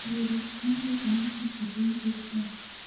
Thierry Henry omi tich e piny Belgium